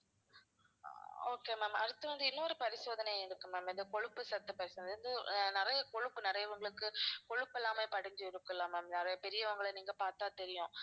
okay ma'am அடுத்து வந்து இன்னொரு பரிசோதனை இருக்கு ma'am இது கொழுப்பு சத்து பரிசோதனை இது வந்து நிறைய கொழுப்பு நிறையவங்களுக்கு கொழுப்பெல்லாமே படிஞ்சிருக்கும் இல்ல ma'am நிறைய பெரியவங்கள நீங்க பார்த்தா தெரியும்